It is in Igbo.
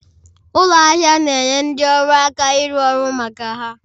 Ụlọ ahịa na-enye ndị ọrụ aka ịrụ ọrụ maka ha